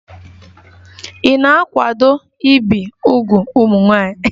Ị na-akwado ibi úgwù ụmụ nwanyị?